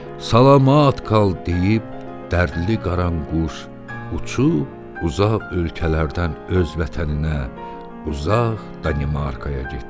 Salamat qal deyib, dərdli qaranquş uçub uzaq ölkələrdən öz vətəninə, uzaq Danimarkaya getdi.